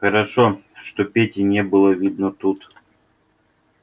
хорошо что пети не было видно тут